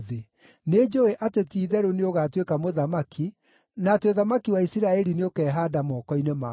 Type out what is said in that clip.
Nĩnjũũĩ atĩ ti-itherũ nĩũgatuĩka mũthamaki, na atĩ ũthamaki wa Isiraeli nĩũkehaanda moko-inĩ maku.